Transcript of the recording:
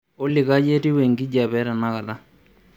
olly kai etiu enkijape etenakata